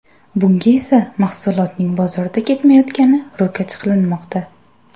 Bunga esa mahsulotning bozorda ketmayotgani ro‘kach qilinmoqda.